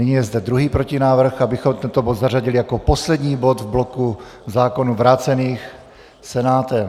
Nyní je zde druhý protinávrh, abychom tento bod zařadili jako poslední bod v bloku zákonů vrácených Senátem.